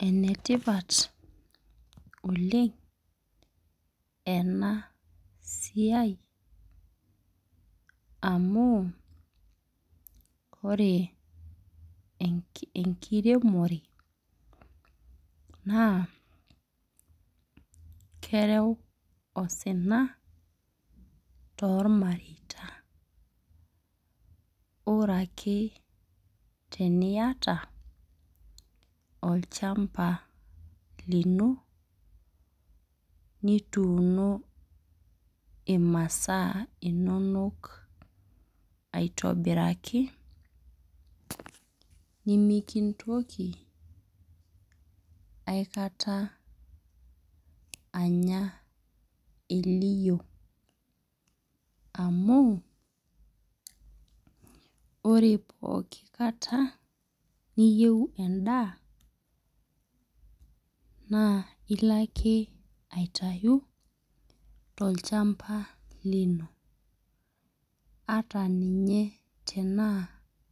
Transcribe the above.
Enetipat oleng enasiai, amu, ore enkiremore, naa kereu osina tormareita. Ore ake teniata olchamba lino, nituuno imasaa inonok aitobiraki, nimikintoki aikata anya eliyio. Amu, ore pooki kata niyieu endaa, naa ilo ake aitayu tolchamba lino. Ata ninye tenaa